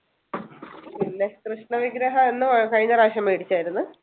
പിന്നെ കൃഷ്ണവിഗ്രഹം എന്ന് കഴിഞ്ഞ പ്രാവശ്യം മേടിച്ചതായിരുന്നു